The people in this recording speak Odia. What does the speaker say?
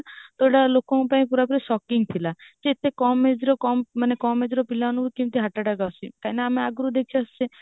ତ ଏଇଟା ଲୋକଙ୍କ ପାଇଁ ପୂରାପୂରି shocking ଥିଲା କି ଏତେ କମ age ରେ ମାନେ କମ age ର ପିଲାମାନଙ୍କୁ କେମିତି heart attack ଆସୁଛି କଇଁ ନା ଆମେ ଆଗରୁ ଦେଖିଆସୁଚେ